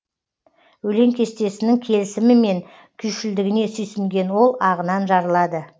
өлең кестесінің келісімі мен күйшілдігіне сүйсінген ол ағынан жарылады